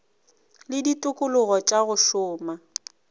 le ditikologo tša go šoma